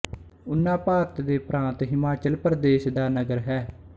ਊਨਾ ਭਾਰਤ ਦੇ ਪ੍ਰਾਤ ਹਿਮਾਚਲ ਪ੍ਰਦੇਸ਼ ਦਾ ਨਗਰ ਹੈ